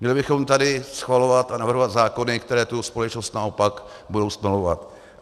Měli bychom tady schvalovat a navrhovat zákony, které tu společnost naopak budou stmelovat.